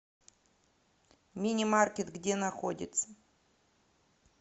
мини маркет где находится